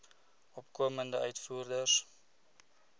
opkomende uitvoerders